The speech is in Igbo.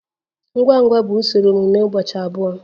Ngwa ngwa bụ usoro mmemme ụbọchị abụọ.